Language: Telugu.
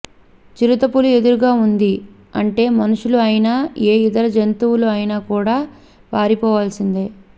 చిరుత పులి ఎదురుగా ఉంది అంటే మనుషులు అయినా ఏ ఇతర జంతువులు అయినా కూడా పారిపోవాల్సిందే